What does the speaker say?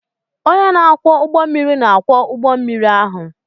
Onye na-akwọ ụgbọ mmiri na-akwọ ụgbọ mmiri ahụ.